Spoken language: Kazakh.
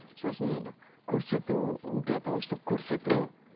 сосын көрсету не для того чтобы көрсету